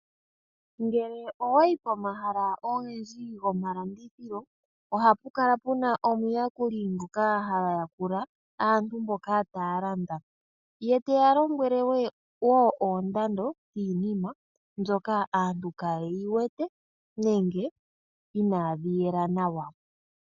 Ngele owayi pomahala ogendji gomalandithilo ohapukala puna omuyakuli ngoka hayakula aantu mboka tayalanda ye teya lombwele wo oondando yiinima mbyoka aantu kayeyi wete nenge inadhi yela nawa.